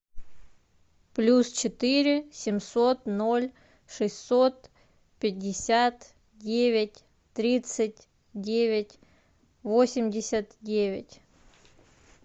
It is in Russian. плюс четыре семьсот ноль шестьсот пятьдесят девять тридцать девять восемьдесят девять